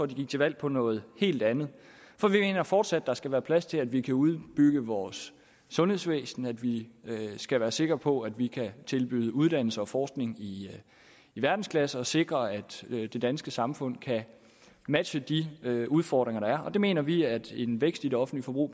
de gik til valg på noget helt andet for vi mener fortsat at der skal være plads til at vi kan udbygge vores sundhedsvæsen at vi skal være sikre på at vi kan tilbyde uddannelse og forskning i verdensklasse og sikre at det danske samfund kan matche de udfordringer der er og det mener vi at en vækst i det offentlige forbrug